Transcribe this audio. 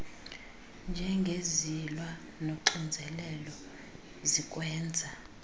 njengezilwa nonxinzelelo zikwenza